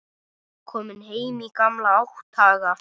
Kominn heim í gamla átthaga.